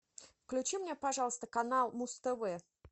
включи мне пожалуйста канал муз тв